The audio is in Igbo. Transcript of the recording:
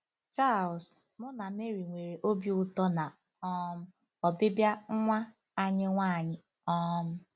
Charles: *“ Mụ na Mary nwere obi ụtọ na um ọbịbịa nwa anyị nwanyị. um